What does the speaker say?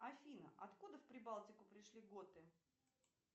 афина откуда в прибалтику пришли готы